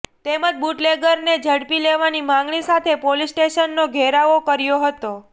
તેમજ બુટલેગરને ઝડપી લેવાની માંગણી સાથે પોલીસ સ્ટેશનનો ઘેરાવો કર્યો હતો